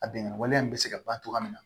A bɛngan wale in bɛ se ka ban cogoya min na